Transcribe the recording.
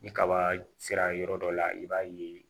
Ni kaba sera yɔrɔ dɔ la i b'a ye